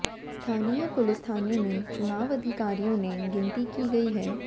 स्थानीय पुलिस थाने में चुनाव अधिकारियों ने गिनती की गई है